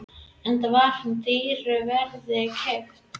Enda var hún dýru verði keypt.